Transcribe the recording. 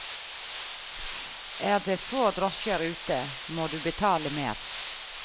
Er det få drosjer ute, må du betale mer.